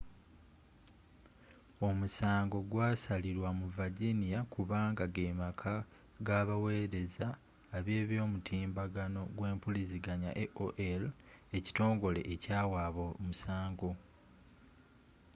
omusango gwasalilwa mu virginia kubanga gemaka gabawereza eby'omutimbagano gwempuliziganya aol ekitongole ekyawaaba omusango